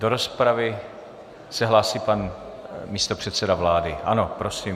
Do rozpravy se hlásí pan místopředseda vlády, ano, prosím.